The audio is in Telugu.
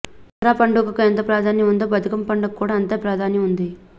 దసరా పండుగకు ఎంత ప్రాధాన్యం వుందో బతుకమ్మ పండుగకు కూడా అంతే ప్రాధాన్యం వుంది